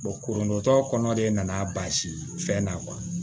kurun tɔ kɔnɔ de nana basi fɛn na